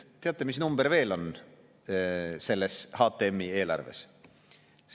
Teate, mis number veel on selles HTM‑i eelarves?